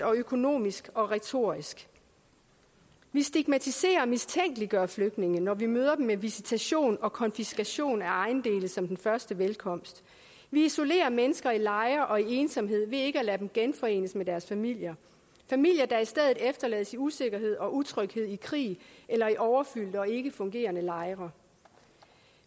økonomisk og retorisk vi stigmatiserer og mistænkeliggør flygtninge når vi møder dem med visitation og konfiskation af ejendele som den første velkomst vi isolerer mennesker i lejre og i ensomhed ved ikke at lade dem genforenes med deres familier familier der i stedet efterlades i usikkerhed og utryghed i krig eller i overfyldte og ikke fungerende lejre